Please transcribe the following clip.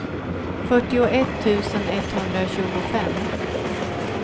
fyrtioett tusen etthundratjugofem